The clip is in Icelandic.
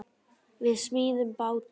Við smíðum báta.